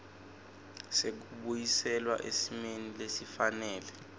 sekubuyiselwa esimeni lesifanele